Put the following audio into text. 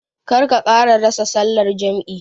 Kar ka ƙara rasa sallar jam'i.